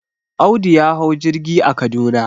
Audu ya hau jirgi a Kaduna.